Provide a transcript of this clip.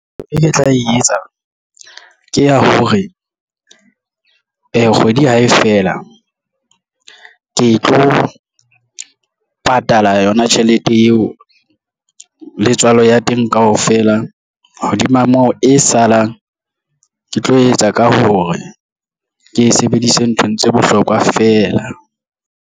E ke tla e etsa ke ya hore kgwedi hae fela ke tlo patala yona tjhelete eo letswalo ya teng kaofela hodima moo e salang ke tlo etsa ka hore ke e sebedise nthong tse bohlokwa feela.